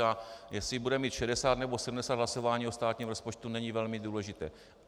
A jestli budeme mít 60, nebo 70 hlasování o státním rozpočtu, není velmi důležité.